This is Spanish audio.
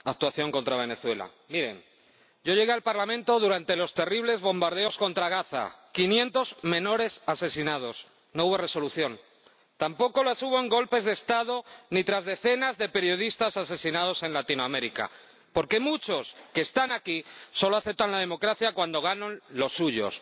Señor Presidente, esta es la octava actuación contra Venezuela. Miren, yo llegué al Parlamento durante los terribles bombardeos contra Gaza quinientos menores asesinados no hubo resolución. Tampoco las hubo en golpes de Estado ni tras decenas de periodistas asesinados en Latinoamérica, porque muchos que están aquí solo aceptan la democracia cuando ganan los suyos.